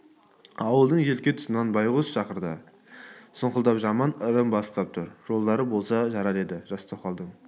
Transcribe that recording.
ауылдың желке тұсынан байғыз шақырды сұңқылдап жаман ырым бастап тұр жолдары болса жарар еді жас тоқалдың